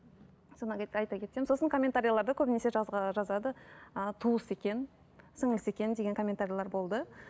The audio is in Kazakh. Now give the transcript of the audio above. содан айта кетсем сосын комментарилерде көбінесе жазады ыыы туысы екен сіңлілісі екен деген комментарилер болды